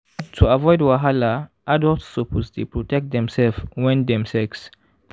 to avoid wahala adults suppose dey protect demself when dem sex